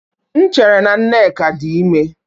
M chere na Nneka dị ime